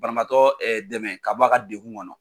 Banabatɔ dɛmɛ ka b'a ka degun kɔnɔ.